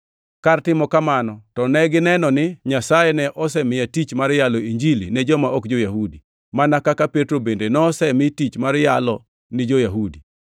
Kar timo kamano to negineno ni Nyasaye ne osemiya tich mar yalo Injili ne joma ok jo-Yahudi, mana kaka Petro bende nosemi tich mar yalo ni jo-Yahudi.